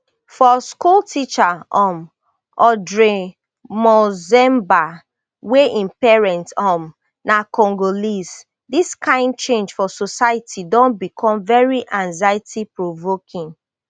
for school teacher um audrey monzemba wey im parent um na congolese dis kain change for society don become very anxiety provoking